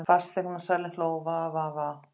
Fasteignasalinn hló:- Va Va Va.